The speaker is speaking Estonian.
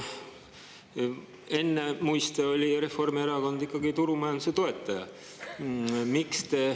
Ennemuiste oli Reformierakond ikkagi turumajanduse toetaja.